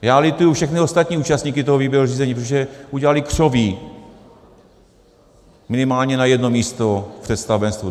Já lituji všechny ostatní účastníky toho výběrového řízení, protože udělali křoví minimálně na jedno místo v představenstvu.